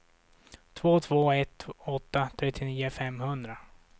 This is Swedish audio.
två två ett åtta trettionio femhundra